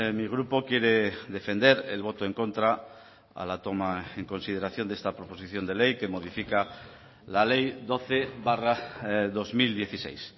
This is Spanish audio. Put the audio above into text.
mi grupo quiere defender el voto en contra a la toma en consideración de esta proposición de ley que modifica la ley doce barra dos mil dieciséis